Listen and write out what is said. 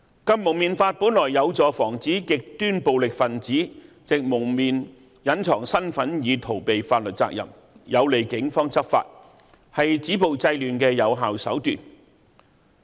《禁蒙面法》本來有助防止極端暴力分子藉蒙面隱藏身份以逃避法律責任，有利警方執法，是止暴制亂的有效手段。